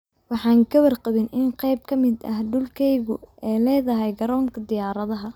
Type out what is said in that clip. Waxaan ka warqabin in qayb ka mid ah dhulkayagu ay leedahay Garoonka Diyaaradaha.